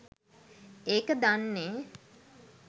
ඒක දන්නෙ